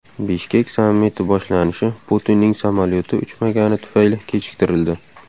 Bishkek sammiti boshlanishi Putinning samolyoti uchmagani tufayli kechiktirildi.